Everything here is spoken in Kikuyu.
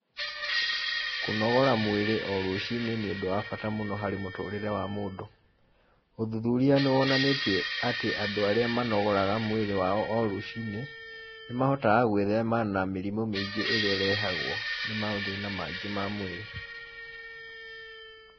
Kũnogora mwĩrĩ o rũcinĩ nĩ ũndũ wa bata mũno harĩ mũtũrĩre wa mũndũ, ũthuthuria nĩwonanĩtie atĩ andũ arĩa manogoraga mwĩrĩ wao o rũcinĩ, nĩmahotaga gwĩthema na mĩrimũ mĩingĩ ĩrĩa ĩrehagwo, nĩ mathĩna mangĩ ma mwĩrĩ.